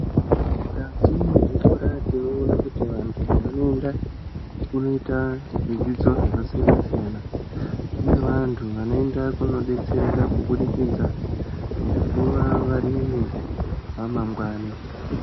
Mukati mwezvikora tinoona kuti antu vanoenda kundoita zvidzidzo zvakasiyana siyana. Kune vantu vanoenda kundodetsereka kubudikidza ngekuva varimi amangwani.